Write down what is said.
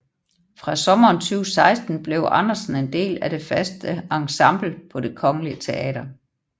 Fra sommeren 2016 blev Andersen en del af det faste ensemble på Det Kongelige Teater